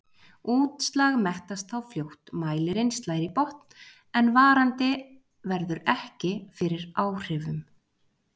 Útslag mettast þá fljótt, mælirinn slær í botn en varandi verður ekki fyrir áhrifum.